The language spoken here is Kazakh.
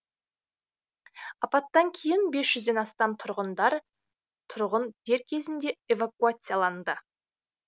апаттан кейін бес жүзден астам тұрғындар дер кезінде эвакуацияланды